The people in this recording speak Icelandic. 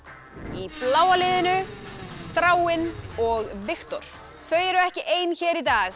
í bláa liðinu Þráinn og Viktor þau eru ekki ein hér í dag